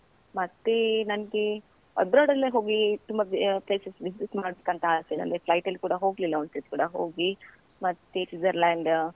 ಮತ್ತೇ ನನ್ಗೆ abroad ಡೆಲ್ಲಾ ಹೋಗಿ ತುಂಬಾ ಆ places visit ಮಾಡ್ಬೇಕಂತ ಆಸೆ ನನ್ಗೆ flight ಅಲ್ಲಿ ಕೂಡ ಹೋಗ್ಲಿಲ್ಲ ಒಂದ್ ಸತಿ ಕೂಡ ಹೋಗಿ, ಮತ್ತೆ ಸ್ವಿಟ್ಜರ್ಲ್ಯಾಂಡ್.